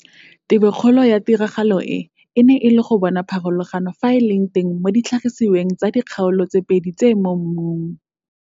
Tebokgolo ya tiragalo e e ne e le go bona pharologano, fa e le teng, mo ditlhagisiweng tsa dikgaolo tse pedi tse mo mmung.